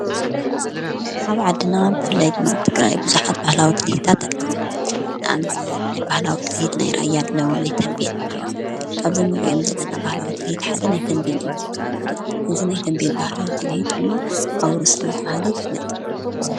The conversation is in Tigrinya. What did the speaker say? ኣብ ዓድና ብፍላይ ድማ ኣብ ትግራይ ብዙሓት ባህላዊት ትልሂታት ኣለዉ። ንኣብነት ናይ ባህላዊ ትልሂት ናይ ራያ ኣለዉ፣ ናይ ተንቤን እኒኦ። ካብዞም እንርእዮም ዘለና ባህላዊ ትልሂት ሓደ ናይ ተንቤን እዩ። እዚ ናይ ተንቤን ባህላዊ ትልሂት ድሞ ኣውሩስ እናተበሃለ ይፍለጥ።